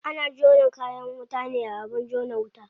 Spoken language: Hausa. Ana jona kayan wuta ne a abin jona wuta.